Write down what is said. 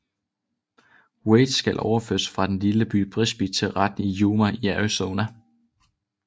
Wade skal overføres fra den lille by Brisbee til retten i Yuma i Arizona